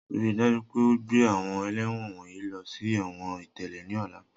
Rii daju pe o gbe awọn ẹlẹ́wọ̀n wọnyi lọ si ẹ̀wọ̀n itẹle ni ọla!